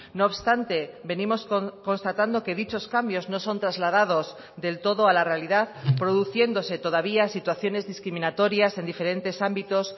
no obstante venimos constatando que dichos cambios no son trasladados del todo a la realidad produciéndose todavía situaciones discriminatorias en diferentes ámbitos